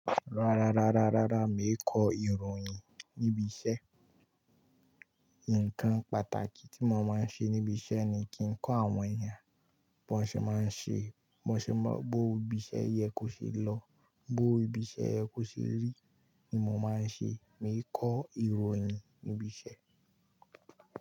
Rárá, rárá, rárá, mi ò kọ ìròyìn níbi iṣẹ́. Nnkan pàtàkì tí mo máa ń ṣe níbi iṣẹ́ ni kí ń kọ́ àwọn èèyàn bó ṣe máa ń ṣe, bó ṣe má, bó ibi isẹ́ yẹ kó ṣe lọ, bó ibi isẹ́ yẹ kó ṣe rí ni mo máa ń ṣe. Mi ò kọ ìròyìn níbi iṣẹ́